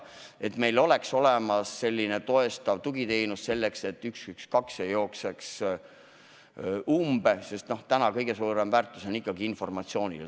Sellisteks puhkudeks peab meil olemas olema toetav tugiteenus, et 112 ei jookseks umbe, sest täna on kõige suurem väärtus ikkagi informatsioonil.